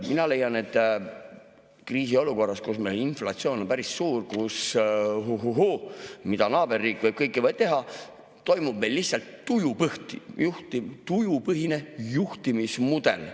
Mina leian, et kriisiolukorras, kus inflatsioon on päris suur, kus, huhuhuu, naaberriik võib kõike teha, toimub meil lihtsalt tujupõhine juhtimismudel.